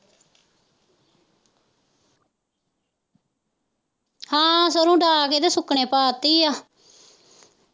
ਹਾਂ ਸਰੋਂ ਡਾ ਕੇ ਤੇ ਸੁੱਕਣੇ ਪਾਤੀ ਆ।